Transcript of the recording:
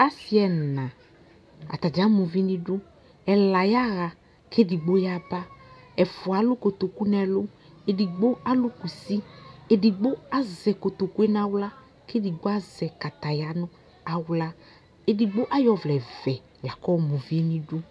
asi ɛna atadza ama uvinʋ idʋ ɛlayaha kɛdigbo yaba ɛfʋa alʋ kotoku nʋ ɛlʋ ɛdigbo alʋ kʋsi ɛdigbo azɛ kotokue nawla kɛ ɛdigbo azɛ kataya nawla ɛdigbo ayɔ ɔvlɛ vɛ lakʋɔma uvi nʋ idu